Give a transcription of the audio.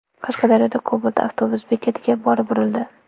Qashqadaryoda Cobalt avtobus bekatiga borib urildi.